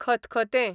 खतखतें